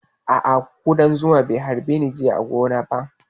A'a ƙudan zuma bai harbe ni ba jiya a gona